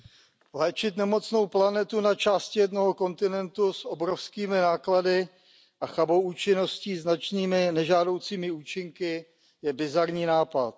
Paní předsedající, léčit nemocnou planetu na části jednoho kontinentu s obrovskými náklady a chabou účinností se značnými nežádoucími účinky je bizarní nápad.